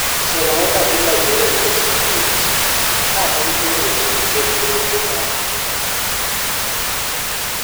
Arsène Wenger dhi Liberia chieng' Tich Abich, ka en e wuoth gi Ker George Weah